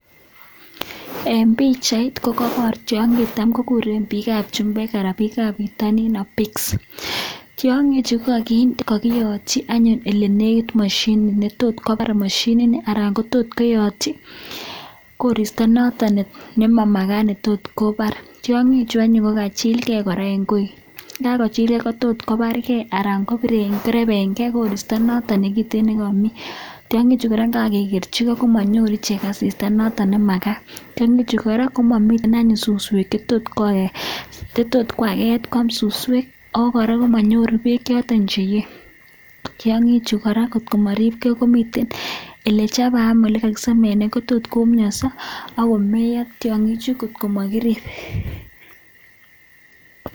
eng pichaiit ko kebar tiangiik chetam kokureen chumbeek (pigs) tiangii chuu kokakiyatchii olemii mashinit netotkopar ako koraa kokachilgeeee mising ako raisii eng yutok kopar kee tiangiii chutok ako miteii koraa olechapaiii oletos chaaas akoputyaaa